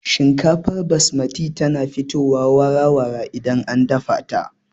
Shinkafar basmati tana fitowa wara-wara idan an dafa ta